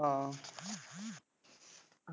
ਹਾਂ।